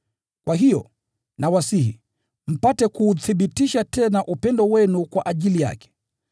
Kwa hiyo, nawasihi, mpate kuuthibitisha tena upendo wenu kwa ajili yake.